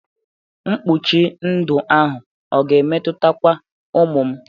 Mkpuchi ndụ ahụ ọ ga-emetutakwa ụmụ m?